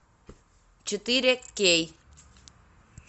четыре кей